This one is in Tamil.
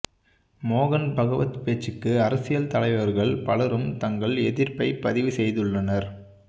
மோகன் பகவத் பேச்சுக்கு அரசியல் தலைவர்கள் பலரும் தங்கள் எதிர்ப்பை பதிவு செய்துள்ளனர்